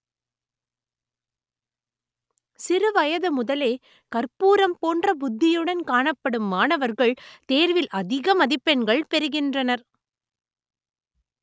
சிறு வயது முதலே கற்பூரம் போன்ற புத்தியுடன் காணப்படும் மாணவர்கள் தேர்வில் அதிக மதிப்பெண்கள் பெறுகின்றனர்